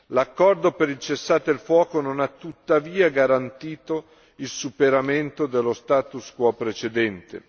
L'accordo per il cessate il fuoco non ha tuttavia garantito il superamento dello status quo precedente.